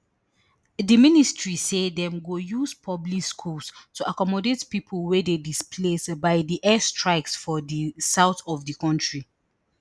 di ministry say dem go use public schools to accommodate pipo wey dey displaced by di airstrikes for di south of di kontri